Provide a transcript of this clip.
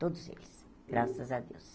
Todos eles, graças a Deus.